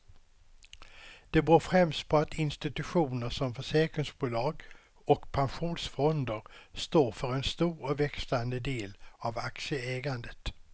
Det beror främst på att institutioner som försäkringsbolag och pensionsfonder står för en stor och växande del av aktieägandet.